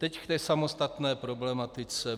Teď k té samostatné problematice.